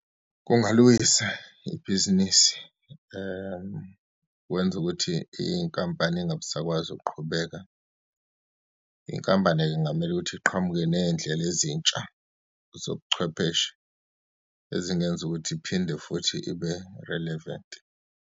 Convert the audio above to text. Kungaliwisa ibhizinisi kwenze ukuthi inkampani ingabisakwazi ukuqhubeka. Inkampani-ke kungamele ukuthi iqhamuke neyindlela ezintsha zobuchwepheshe ezingenza ukuthi iphinde futhi ibe relevant.